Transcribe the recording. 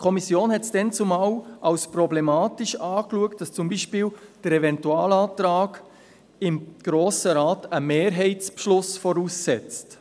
Die Kommission sah es damals als problematisch an, dass zum Beispiel der Eventualantrag im Grossen Rat einen Mehrheitsbeschluss voraussetzt.